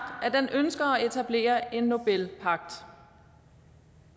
at den ønsker at etablere en nobelpagt